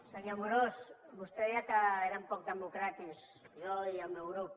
senyor amorós vostè deia que érem poc democràtics jo i el meu grup